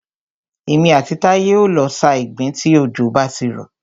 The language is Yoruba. Èmi àti Táyé o lọ sa ìgbín tí òjò bá ti rọ̀.